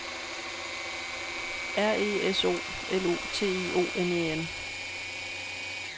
R E S O L U T I O N E N